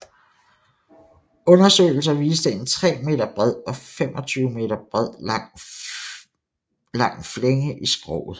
Undersøgelser viste en 3 m bred og 25 m lang flænge i skroget